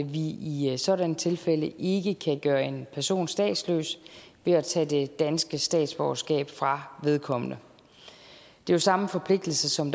vi i sådanne tilfælde ikke kan gøre en person statsløs ved at tage det danske statsborgerskab fra vedkommende det er samme forpligtelse som